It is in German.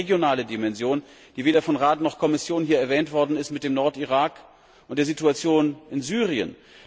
Wir haben die regionale Dimension die weder von Rat noch Kommission hier erwähnt worden ist mit dem Nordirak und der Situation in Syrien.